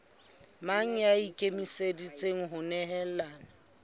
mang ya ikemiseditseng ho nehelana